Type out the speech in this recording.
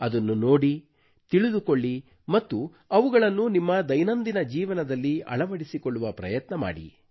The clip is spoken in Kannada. ಅದನ್ನು ನೋಡಿ ತಿಳಿದುಕೊಳ್ಳಿ ಮತ್ತು ಅವುಗಳನ್ನು ನಿಮ್ಮ ದೈನಂದಿನ ಜೀವನದಲ್ಲಿ ಅಳವಡಿಸಿಕೊಳ್ಳುವ ಪ್ರಯತ್ನ ಮಾಡಿ